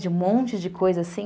De um monte de coisa assim.